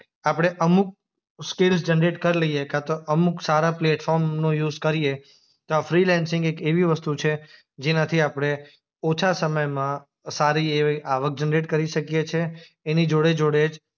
આપણે અમુક skills generate કરી લઈએ કાંતો અમુક સારા પ્લેટફોર્મનો યુઝ કરીએ તો આ ફ્રીલેન્સિંગ એક એવી વસ્તુ છે જેનાથી આપણે ઓછા સમયમાં સારી એવી આવક જનરેટ કરી શકીએ છે. એની જોડે-જોડે જ